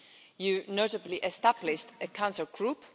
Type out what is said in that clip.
You notably established a cancer group.